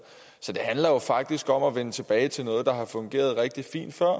så det handler faktisk om at vende tilbage til noget der har fungeret rigtig fint før